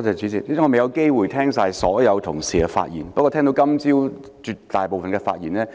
主席，我未有機會聆聽所有同事的發言，不過我聽到今早大部分的發言，也